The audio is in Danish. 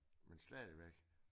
Men stadigvæk